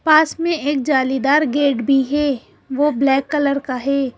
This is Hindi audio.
पास में एक जालीदार गेट भी है वो ब्लैक कलर का है।